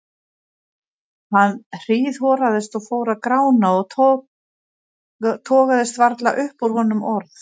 Hann hríðhoraðist og fór að grána og togaðist varla upp úr honum orð.